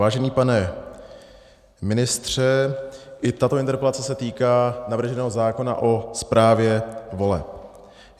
Vážený pane ministře, i tato interpelace se týká navrženého zákona o správě voleb.